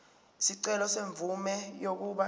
isicelo semvume yokuba